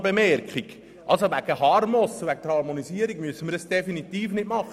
Wegen HarmoS müssen wir diese zusätzlichen Lektionen nicht einführen.